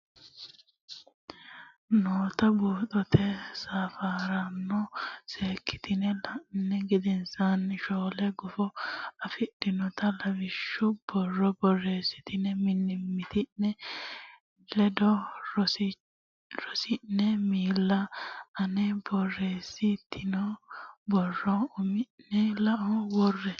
noota buuxote safaraano seekkitine la ini gedensaanni shoole gufo afidhinota heewisiishshu borro borreessitine mimmiti ne ledo soorridhine miili a ne borreessi tino borrora umi ne lao worre.